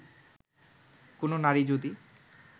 কোন নারী যদি